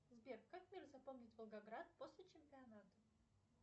сбер как мир запомнит волгоград после чемпионата